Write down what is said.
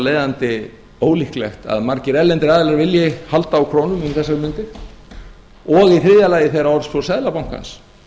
leiðandi ólíklegt að margir erlendir aðilar vilji halda á krónum um þessar mundir og í þriðja lagi þegar orðspor seðlabankans